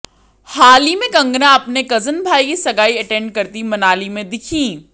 हाल ही में कंगना अपने कज़न भाई की सगाई अटेंड करती मनाली में दिखीं